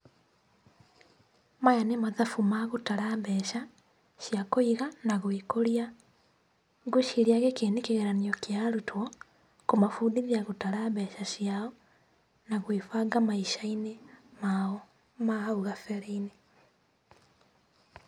Maya nĩ mathabu ma gũtara mbeca cĩa kũiga, na gwĩkũria, ngwĩciria gĩkĩ nĩ kĩgeranio kĩa arutwo, kũmabundithia gũtara mbeca ciao, na gwũĩbanga maica-inĩ mao ma hau gabere-inĩ.